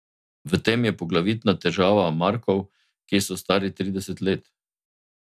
V tem je poglavitna težava Markov, ki so stari trideset let.